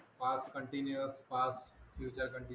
Past continuous past future continuous